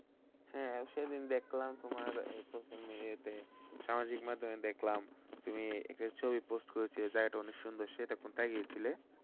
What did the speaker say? হ্যাঁ, সেদিন দেখলাম তোমার এর প্রথম ইয়েতে সামাজিক মাধ্যমে দেখলাম তুমি একটি ছবি Post করেছিলে জায়গাটা অনেক সুন্দর সেটা কোথায় গিয়েছিলে?